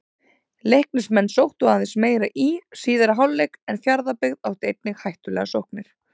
Leiknismenn sóttu aðeins meira í síðari hálfleik en Fjarðabyggð átti einnig hættulegar sóknir.